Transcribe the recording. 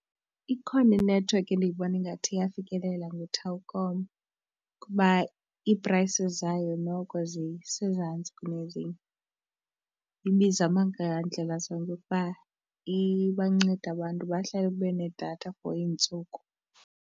Ikhona inethiwekhi endiyibona ingathi iyafikelela nguTelkom kuba i-prices zayo noko zisezantsi kunezinye. Ibizama ngandlela zonke ukuba ibancede abantu bahlale benedatha for iintsuku.